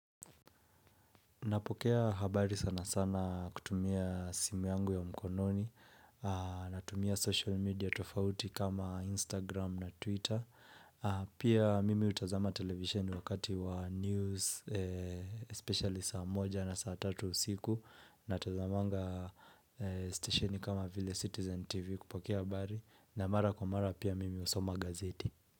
Napokea habari sana sana kutumia simu yangu ya mkononi, natumia social media tofauti kama Instagram na Twitter, pia mimi hutazama televisheni wakati wa news, especially saa moja na saa tatu usiku, natazamanga stesheni kama vile Citizen TV kupokea habari, na mara kwa mara pia mimi husoma gazeti.